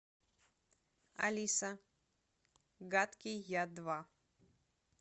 алиса гадкий я два